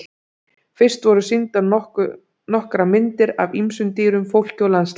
Fyrst voru sýndar nokkrar myndir af ýmsum dýrum, fólki og landslagi.